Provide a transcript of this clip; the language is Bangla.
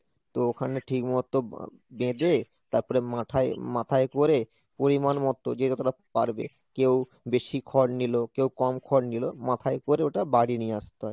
তো ওখানে ঠিক মতো বা~ বেঁধে তারপরে মাথায়~ মাথায় করে পরিমাণ মতো যে যতটা পারবে, কেউ বেশি খড় নিলো, কেউ কম খড় নিলো মাথায় করে ওটা বাড়ি নিয়ে আসতে হয়।